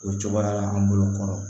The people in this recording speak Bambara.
O cogoya la an bolo kɔnɔ